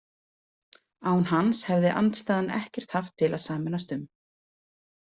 Án hans hefði andstaðan ekkert haft til að sameinast um.